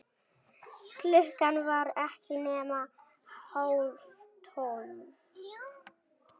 Klukkan var ekki nema hálftólf.